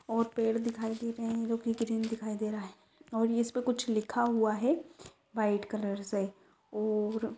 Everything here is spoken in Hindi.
और पेड़ दिखाई दे रहे है जोके ग्रीन दिखाई दे रहा है और येह उसके ऊपर कुछ लिखा हुआ है व्हाइट कलर से और--